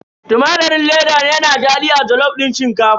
Tumatirin leda yana daɗi a jalof din shinkafa.